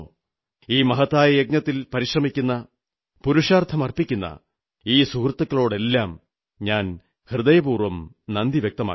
ഈ മഹത്തായ യജ്ഞത്തിൽ പരിശ്രമിക്കുന്ന പുരുഷാർഥം അർപ്പിക്കുന്ന ഈ സുഹൃത്തുക്കളോടെല്ലാം ഞാൻ ഹൃദയപൂർവ്വം നന്ദി വ്യക്തമാക്കുന്നു